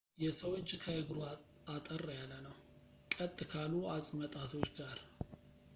የሰው እጅ ከእግሩ አጠር ያለ ነው ቀጥ ካሉ አፅመጣቶች ጋር